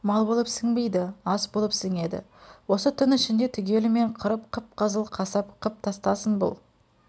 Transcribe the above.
мал болып сіңбейді ас болып сіңеді осы түн ішінде түгелімен қырып қып-қызыл қасап қып тастасын бұл